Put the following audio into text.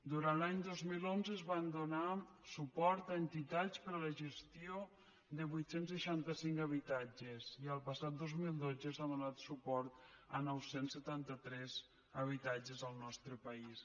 durant l’any dos mil onze es van donar suport a entitats per a la gestió de vuit cents i seixanta cinc habitatges i el passat dos mil dotze s’ha donat suport a nou cents i setanta tres habitatges al nostre país